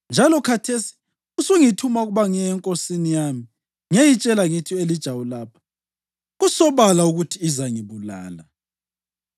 Njalo khathesi usungithuma ukuba ngiye enkosini yami ngiyeyitshela ngithi, ‘U-Elija ulapha.’ Kusobala ukuthi izangibulala!”